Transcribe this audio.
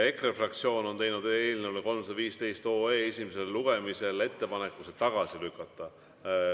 EKRE fraktsioon on teinud ettepaneku eelnõu 315 esimesel lugemisel tagasi lükata.